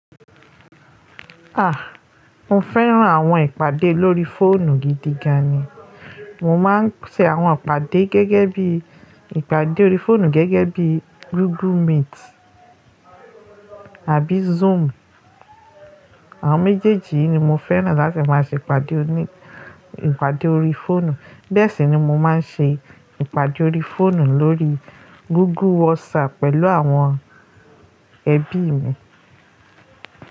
A! Mo fẹ́ran àwọn ìpàdé lórí fóònù gidi gan ni. Mo máa ń ṣe àwọn ìpàdé gẹ́gẹ́ bí ìpàdé orí fóònù gẹ́gẹ́ bí Google Meet àbí Zoom. Àwọn méjèèjì yìí ni mo fẹ́ràn láti máa ṣe ìpàdé òní ìpàdé orí fóònù. Bẹ́ẹ̀ sì ni mo máa ń ṣe ìpàdé orí fóònù lórí Google WhatsApp pẹ̀lú àwọn ẹbí mi.